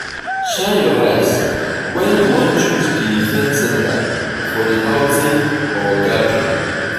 shine your eyes when you wan choose di event center for the outing or gathering